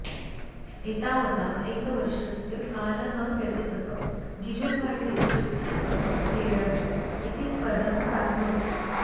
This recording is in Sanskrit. एतावता एकवर्षस्य कालः व्यतीतः गिजुभाई डिस्ट्रिक्ट् प्लीडर् इति पदं प्राप्नोत्